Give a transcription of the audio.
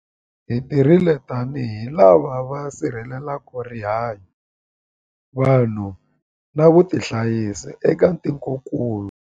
Hi tirhile tanihi lava va sirhelelaka rihanyu, vanhu na vutihanyisi eka tikokulu.